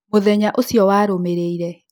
Mũthenya ũcio warũmĩrĩire.